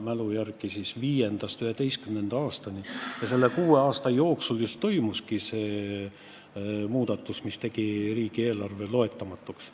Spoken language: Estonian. Mina pean ütlema, et mul oli parlamenditöös üks tõsine paus, aga minu mälu järgi just perioodil 2005–2011, selle kuue aasta jooksul toimuski see muudatus, mis on teinud riigieelarve loetamatuks.